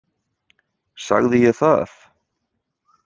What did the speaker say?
Sagði ég það?